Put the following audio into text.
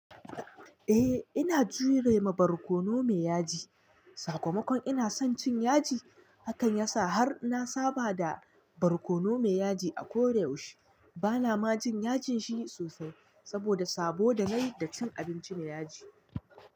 Eh ina jure ma barkono me yaji, sakamakon ina son cin yaji, hakan yasa har na saba da barkono me yaji a ko yaushe. Bana ma jin yajin shi sosai, saboda saboda nayi da cin abinci me yaji.